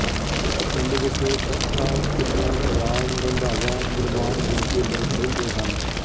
ਇਸ ਪਿੰਡ ਵਿੱਚ ਚੱਠਾ ਸਿੱਧੂ ਬਰਾੜ ਰੰਧਾਵਾ ਨਿਰਵਾਣ ਗੋਤ ਦੇ ਲੋਕ ਰਹਿੰਦੇ ਹਨ